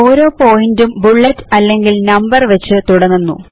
ഓരോ പോയിന്റും തുടങ്ങുന്നത് ബുല്ലെറ്റ് വെച്ചിട്ടോ അല്ലെങ്കിൽ നമ്പർ വെച്ച് തുടങ്ങുന്നു